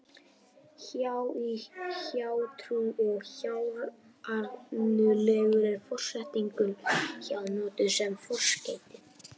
Hjá- í hjátrú og hjárænulegur er forsetningin hjá notuð sem forskeyti.